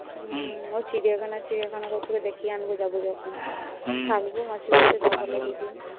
হু ও চিড়িয়াখানা চিড়িয়াখানা করছিল। দেখিয়ে আনব। যাবো যখন।